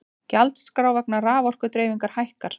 Gjaldskrá vegna raforkudreifingar hækkar